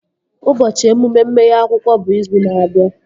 Ụbọchị emume mmeghe akwụkwọ bụ izu na-abịa